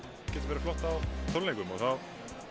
yrði flott á tónleikum og þar